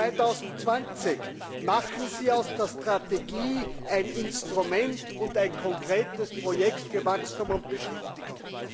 Europa 2020 Machen Sie aus der Strategie ein Instrument und ein konkretes Projekt für Wachstum und Beschäftigung.